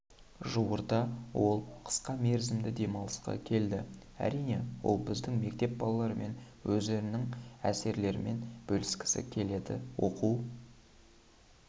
жуырда ол қысқа мерзімді демалысқа келді әрине ол біздің мектеп балаларымен өзінің әсерлерімен бөліскісі келді оқу